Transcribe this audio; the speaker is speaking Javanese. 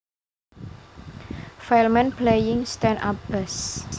File Man Playing Stand Up Bass